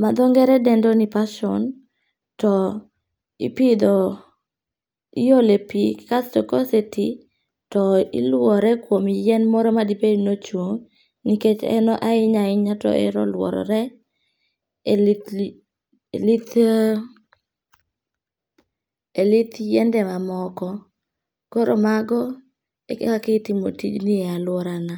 matho nge're dende ni passion to ipitho, iyole pi kasto kose ti, to iluore kuom yien moro ma dibed ni ochung' nikech ahinya ahinya to ohero luorore e lith lith e lith yiende mamoko koro mago e ka itimo tijni e aluorana.